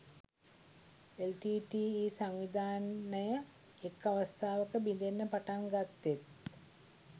LTTE සංවිධානය එක් අවස්ථාවක බිඳෙන්න පටන් ගත්තෙත්